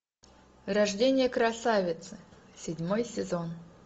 рождение красавицы седьмой сезон